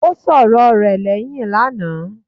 Ó sọ̀rọ rẹ̀ lẹ́hìn lánàá.